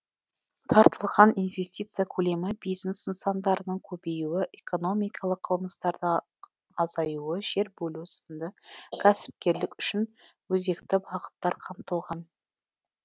тартылған инвестиция көлемі бизнес нысандарының көбеюі экономикалық қылмыстардың азаюы жер бөлу сынды кәсіпкерлік үшін өзекті бағыттар қамтылған